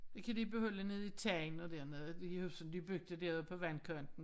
Det kan de beholde nede i Tangen og dernede de huse de byggede derude på vandkanten